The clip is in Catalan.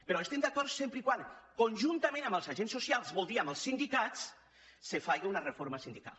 però hi estem d’acord sempre que conjuntament amb els agents socials vol dir amb els sindicats se faci una reforma sindical